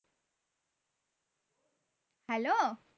hello